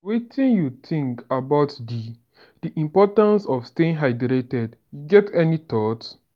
wetin you think about di di importance of staying hydrated you get any thoughts?